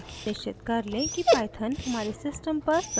निश्चित कर let कि python हमारे system पर संस्थापित हो गया हो